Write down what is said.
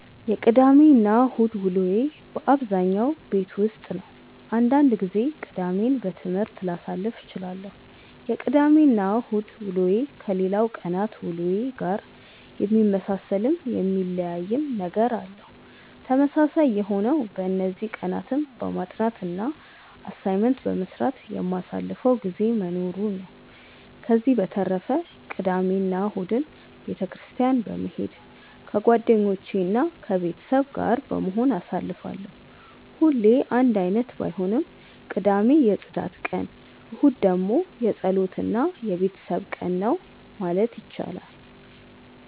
የቅዳሜ እና እሁድ ውሎዬ በአብዛኛው ቤት ውስጥ ነው። አንዳንድ ጊዜ ቅዳሜን በትምህርት ላሳልፍ እችላለሁ። የቅዳሜ እና እሁድ ውሎዬ ከሌላው ቀናት ውሎዬ ጋር የሚመሳሰልም የሚለያይም ነገር አለው። ተመሳሳይ የሆነው በእነዚህ ቀናትም በማጥናት እና አሳይመንት በመስራት የማሳልፈው ጊዜ መኖሩ ነው። ከዚህ በተረፈ ቅዳሜ እና እሁድን ቤተ ክርስትያን በመሄድ ከጓደኞቼ እና ከቤተሰብ ጋር በመሆን አሳልፋለሁ። ሁሌ አንድ አይነት ባይሆንም ቅዳሜ የፅዳት ቀን እሁድ ደግሞ የፀሎት እና የቤተሰብ ቀን ነው ማለት ይቻላል።